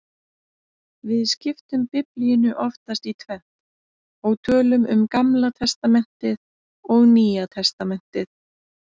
Við skiptum Biblíunni oftast í tvennt og tölum um Gamla testamentið og Nýja testamentið.